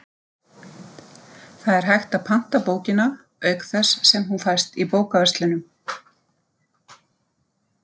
Þar er hægt að panta bókina, auk þess sem hún fæst í bókaverslunum.